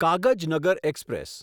Kagaznagar express